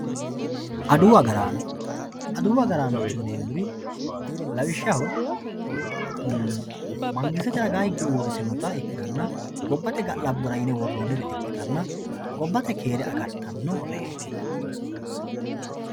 Adawu agaraano, adawu agaranno yineemoti lawishaho mangisitete widooni hige uuritinotta ikkitanna gobbate ga'laborra yine woronnitta ikkittanna gobbate keere agaritanoreti